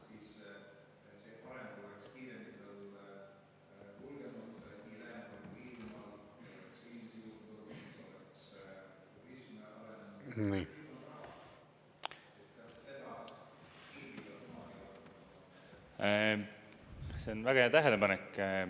See on väga hea tähelepanek.